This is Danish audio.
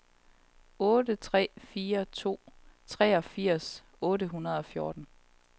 otte tre fire to femogfirs otte hundrede og fjorten